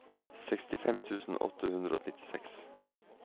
sekstifem tusen åtte hundre og nittiseks